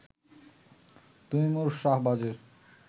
Taimur শাহবাজের